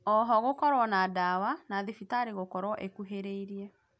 Ooho gũkorwo na dawa na thibitarĩ gũkorwo ĩkuhĩrĩirie